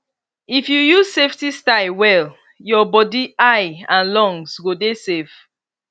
if you use safety style well your body eye and lungs go dey safe